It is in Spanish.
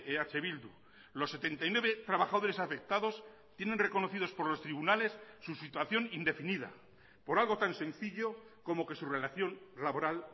eh bildu los setenta y nueve trabajadores afectados tienen reconocidos por los tribunales su situación indefinida por algo tan sencillo como que su relación laboral